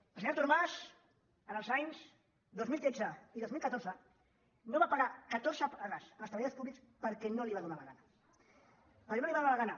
el senyor artur mas els anys dos mil tretze i dos mil catorze no va pagar catorze pagues als treballadors públics perquè no li va donar la gana perquè no li va donar la gana